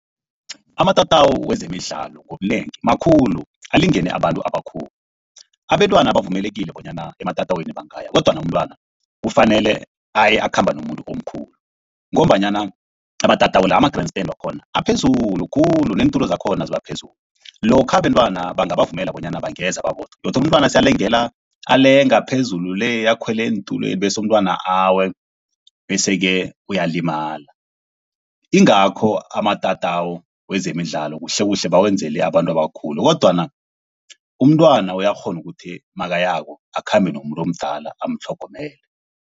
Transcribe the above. Amatatawu wezemidlalo ngobunengi makhulu. Alingene abantu abakhulu, abentwana bavumelekile bonyana ematatawini bangaya kodwana umntwana, kufanele aye akhamba nomuntu omkhulu ngombanyana amatatawu la ama-grand stand wakhona aphezulu khulu neentulo zakhona ziba phezulu. Lokha abentwana bangabavumela bonyana bangeza babodwa godu umntwana alenga phezulu le akhwele eentulweni bese umntwana awe. Bese-ke uyalimala, ingakho amatatawu wezemidlalo kuhlekuhle bawenzele abantu abakhulu kodwana umntwana uyakghona ukuthi makayako akhambe nomumuntu omdala amutlhogomele.